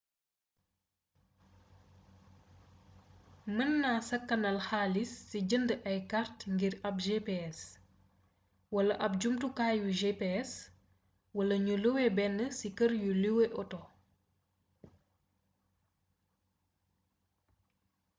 mën na sakanal xalis si jënd ay kart ngir ab gps wala ab jumutukaayu gps wala ñu luwé ben si kër yuy luwe auto